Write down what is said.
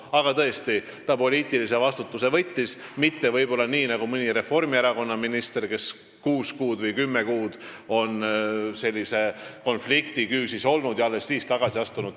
Aga tõesti, ta võttis poliitilise vastutuse, mitte nii nagu mõni Reformierakonna minister, kes on kuus või kümme kuud sellise konflikti küüsis olnud ja alles siis tagasi astunud.